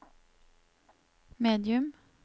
medium